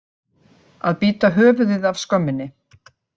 Að bíta höfuðið af skömminni